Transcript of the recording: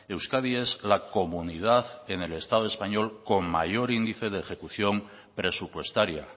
euskadi es la comunidad en el estado español con mayor índice de ejecución presupuestaria